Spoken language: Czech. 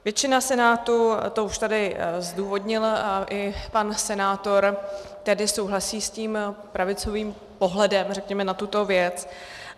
Většina Senátu, to už tady zdůvodnil i pan senátor, tedy souhlasí s tím pravicovým pohledem, řekněme, na tuto věc.